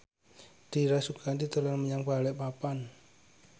Dira Sugandi dolan menyang Balikpapan